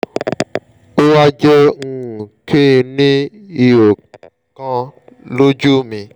ó wá jẹ́ um kí n ní ihò kan lójú mi